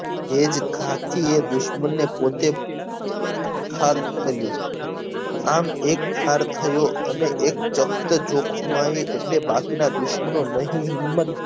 એજ ઘાથી એ દુશ્મનને પોતે ઠાર કર્યો આમ એક ઠાર થયો અને એક જોખમાયી એટલે બાકીના દુશ્મનો નહી હિમત